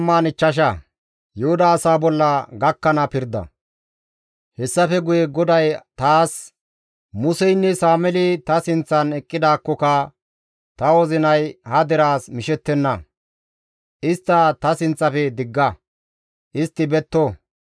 Hessafe guye GODAY taas, «Museynne Sameeli ta sinththan eqqidaakkoka ta wozinay ha deraas mishettenna; istta ta sinththafe digga; istti betto.